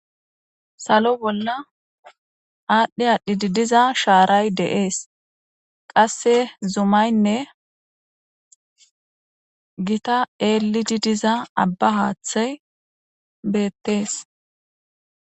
Salo bolla adhi adhidi diza sharay de'ese qase Zmayinne gita elidi diza abba hathey betese